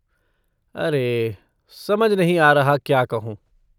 अरे! समझ नहीं आ रहा क्या कहूँ।